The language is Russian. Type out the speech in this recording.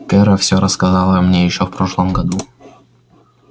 кэро все рассказала мне ещё в прошлом году